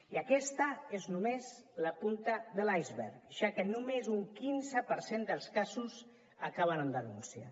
i aquesta és només la punta de l’iceberg ja que només un quinze per cent dels casos acaben amb denúncia